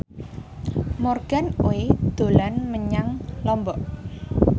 Morgan Oey dolan menyang Lombok